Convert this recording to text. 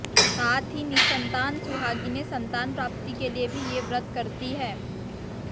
साथ ही निसंतान सुहागिनें संतान प्राप्ति के लिए भी ये व्रत करती हैं